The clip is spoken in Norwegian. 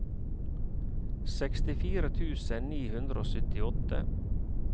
sekstifire tusen ni hundre og syttiåtte